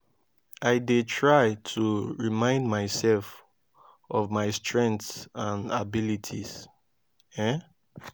i dey try to remind myself of my strengths and abilities. um